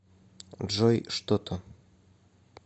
джой что то